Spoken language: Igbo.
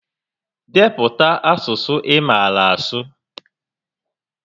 Depụta asụsụ ị maara asụ!